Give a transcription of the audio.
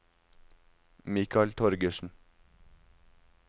Mikal Torgersen